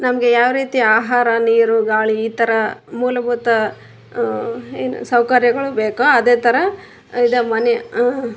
ನಮ್ಗೆ ಯಾವ್ ರೀತಿಯ ಆಹಾರ ನೀರು ಗಾಳಿ ಈ ತರ ಮೂಲಬೂತ ಅಹ್ ಸೌಕರ್ಯಗಳು ಬೇಕೊ ಅದೇ ತರ ಇದೆ ಮನೆ ಅ --